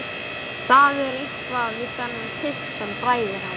Það er eitthvað við þennan pilt sem bræðir hana.